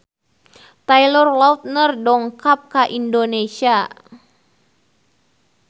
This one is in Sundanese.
Taylor Lautner dongkap ka Indonesia